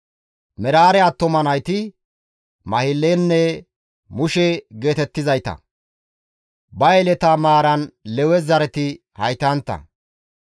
Meraare attuma nayti Mahilenne Mushe geetettizayta. Ba Yeleta maaran Lewe zareti haytantta.